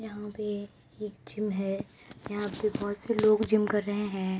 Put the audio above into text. यहां पर एक जिम है | यहां पर बहुत से लोग जिम कर रहे हैं|